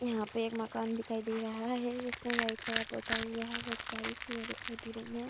यहाँ पे एक मकान दिखाई दे रहा है जिसमें वाइट कलर पोता हुआ है। बहुत सारी सीढियाँ दिखाई दे रही हैं।